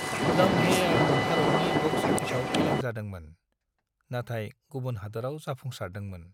लम्हे'आ भारतनि बक्स अफिसाव फेलें जादोंमोन, नाथाय गुबुन हादोराव जाफुंसारदोंमोन।